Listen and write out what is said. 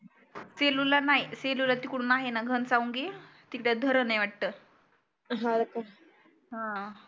सेलूला नाही सेलू ला तिकडून आहे ना घनसावंगी तिकडे धरण आहे वाटतं हा